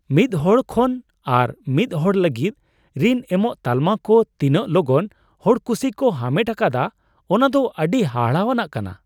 ᱢᱤᱫ ᱦᱚᱲ ᱠᱷᱚᱱ ᱟᱨ ᱢᱤᱫ ᱦᱚᱲ ᱞᱟᱹᱜᱤᱫ ᱨᱤᱱ ᱮᱢᱚᱜ ᱛᱟᱞᱢᱟ ᱠᱚ ᱛᱤᱱᱟᱹᱜ ᱞᱚᱜᱚᱱ ᱦᱚᱲᱠᱩᱥᱤ ᱠᱚ ᱦᱟᱢᱮᱴ ᱟᱠᱟᱫᱟ, ᱚᱱᱟ ᱫᱚ ᱟᱹᱰᱤ ᱦᱟᱦᱟᱲᱟᱣᱟᱱ ᱠᱟᱱᱟ ᱾